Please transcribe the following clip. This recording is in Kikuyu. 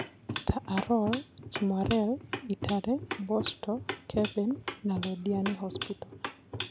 Ta Arror, Kimwarer, Itare, Bosto, Keben, na Londiani Hospital.